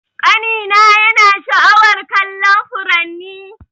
Kani na yana sha'awar kallon furanni.